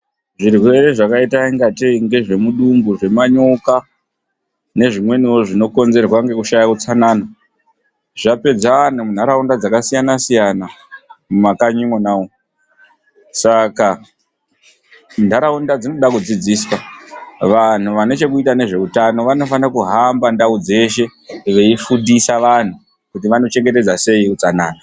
Zvirwere zvakaita ingateyi ngezvemudumbu, zvemanyoka nezvimweniwo zvinokonzerwa ngekushaya utsanana zvapedza vantu mundaraunda dzakasiyana-siyana mumakanyi mwonamwo. Saka ndaraunda dzinoda kudzidziswa. Vantu vanechekuita nezveutano vanofana kuhamba ndau dzeshe veyifundisa vantu kuti vanochengetedza sei utsanana.